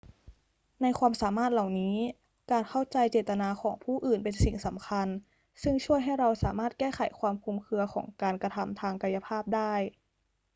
ในความสามารถเหล่านี้ การเข้าใจเจตนาของผู้อื่นเป็นสิ่งสำคัญ ซึ่งช่วยให้เราสามารถแก้ไขความคลุมเครือของการกระทำทางกายภาพได้